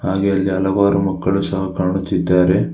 ಹಾಗೆ ಅಲ್ಲಿ ಹಲವಾರು ಮಕ್ಕಳು ಸಹ ಕಾಣುತ್ತಿದ್ದಾರೆ.